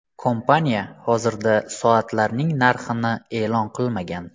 Kompaniya hozirda soatlarning narxini e’lon qilmagan.